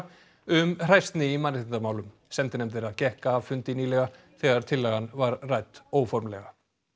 um hræsni í mannréttindamálum sendinefnd þeirra gekk af fundi nýlega þegar tillagan var rædd óformlega